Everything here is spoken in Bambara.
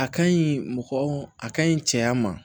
A ka ɲi mɔgɔ a kaɲi cɛya ma